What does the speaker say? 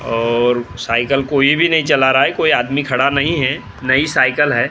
और साइकल कोई भी नहीं चल रहा है कोई आदमी खड़ा नहीं है नई साइकल है।